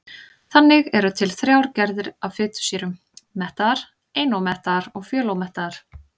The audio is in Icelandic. Þannig eru til þrjár gerðir af fitusýrum: mettaðar, einómettaðar og fjölómettaðar.